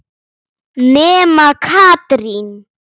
Nema Katrín.